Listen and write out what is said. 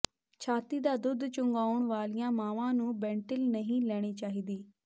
ਛਾਤੀ ਦਾ ਦੁੱਧ ਚੁੰਘਾਉਣ ਵਾਲੀਆਂ ਮਾਵਾਂ ਨੂੰ ਬੈਂਟਿਲ ਨਹੀਂ ਲੈਣੀ ਚਾਹੀਦੀ